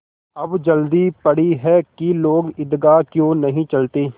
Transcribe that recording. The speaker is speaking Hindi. अब जल्दी पड़ी है कि लोग ईदगाह क्यों नहीं चलते